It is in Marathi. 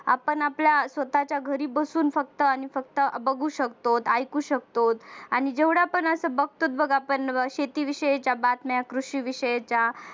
आपण आपल्या स्वतःच्या घरी बसून आणि फक्त आणि फक्त बघू शकतो ऐकू शकतो आणि जेवढ्या पण आपण बघतोच बघ शेती शेतीविषयीच्या बातम्या कृषी विषयीच्या बातम्या